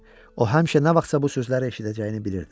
O həmişə nə vaxtsa bu sözləri eşidəcəyini bilirdi.